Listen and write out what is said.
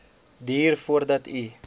duur voordat u